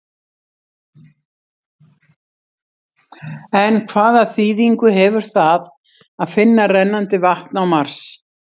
En hvaða þýðingu hefur það að finna rennandi vatn á Mars?